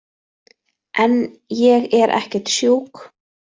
En ég er ekkert sjúk.